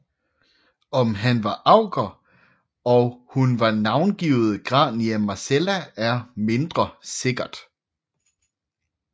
Om han var augur og hun var navngivet Grania Marcella er mindre sikkert